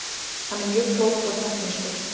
Hann er mjög klókur og teknískur.